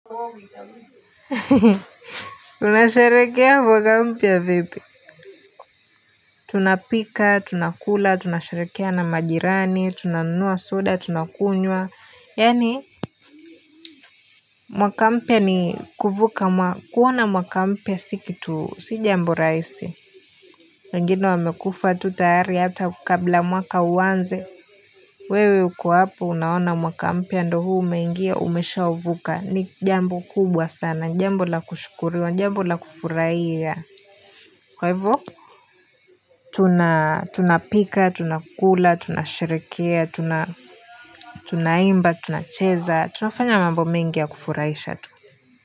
Hehe Unasherehekea mwaka mpya vipi Tunapika tunakula tunasherehekea na majirani tunanunua soda tunakunywa yaani mwaka mpya ni kuvuka kuona mwaka mpya si kitu si jambo rahisi wengine wamekufa tu tayari hata kabla mwaka uanze wewe uko hapo unaona mwaka mpya ndo huu umengia umesha uvuka ni jambo kubwa sana jambo la kushukuriwa jambo la kufurahia Kwa hivo? Tunapika, tunakula, tunasherehekea, tunaimba, tunacheza, tunafanya mambo mengi ya kufurahisha tu.